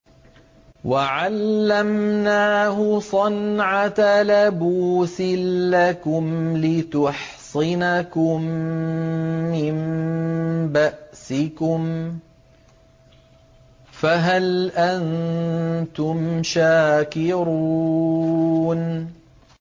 وَعَلَّمْنَاهُ صَنْعَةَ لَبُوسٍ لَّكُمْ لِتُحْصِنَكُم مِّن بَأْسِكُمْ ۖ فَهَلْ أَنتُمْ شَاكِرُونَ